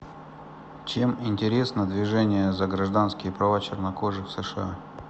чем интересна движение за гражданские права чернокожих в сша